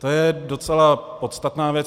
To je docela podstatná věc.